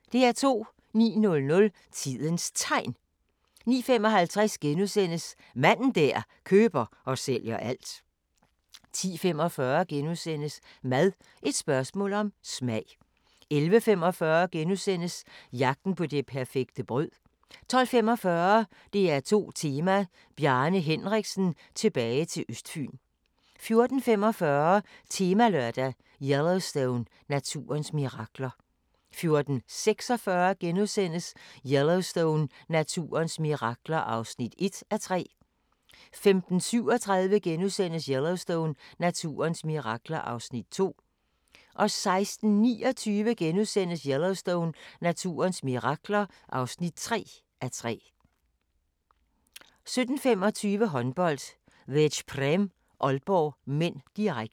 09:00: Tidens Tegn 09:55: Manden der køber og sælger alt * 10:45: Mad – et spørgsmål om smag * 11:45: Jagten på det perfekte brød * 12:45: DR2 Tema: Bjarne Henriksen – tilbage til Østfyn 14:45: Temalørdag: Yellowstone – naturens mirakler 14:46: Yellowstone – naturens mirakler (1:3)* 15:37: Yellowstone – naturens mirakler (2:3)* 16:29: Yellowstone – naturens mirakler (3:3)* 17:25: Håndbold: Veszprém-Aalborg (m), direkte